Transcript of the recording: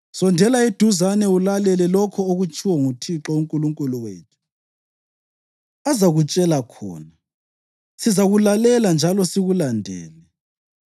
Sondela eduzane ulalele lokho okutshiwo nguThixo uNkulunkulu wethu. Ubususitshela lokho uThixo uNkulunkulu wethu azakutshela khona. Sizakulalela njalo sikulandele.’